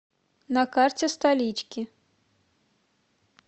на карте столички